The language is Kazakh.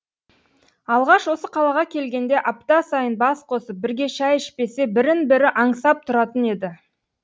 алғаш осы қалаға келгенде апта сайын бас қосып бірге шай ішпесе бірін бірі аңсап тұратын еді